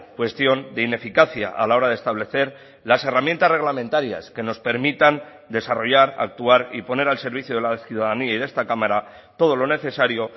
cuestión de ineficacia a la hora de establecer las herramientas reglamentarias que nos permitan desarrollar actuar y poner al servicio de la ciudadanía y de esta cámara todo lo necesario